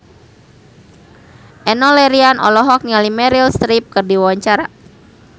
Enno Lerian olohok ningali Meryl Streep keur diwawancara